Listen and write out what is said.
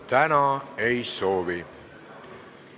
Täna ei soovi.